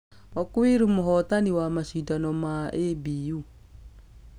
Okwiri mũhotani wa mashidano ma ABU.